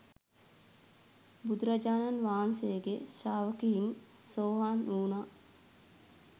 බුදුරජාණන් වහන්සේගේ ශ්‍රාවකයින් සෝවාන් වුණා.